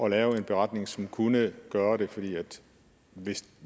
at lave en beretning som kunne gøre det for